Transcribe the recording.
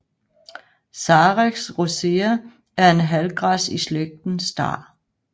Carex rosea er en halvgræs i slægten star